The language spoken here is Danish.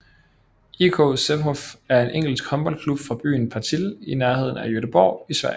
IK Sävehof er en svensk håndboldklub fra byen Partille i nærheden af Göteborg i Sverige